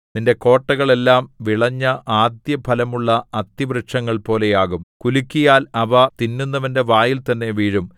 നിന്റെ കോട്ടകൾ എല്ലാം വിളഞ്ഞ ആദ്യഫലമുള്ള അത്തിവൃക്ഷങ്ങൾപോലെയാകും കുലുക്കിയാൽ അവ തിന്നുന്നവന്റെ വായിൽതന്നെ വീഴും